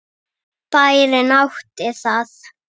Bærinn átti það.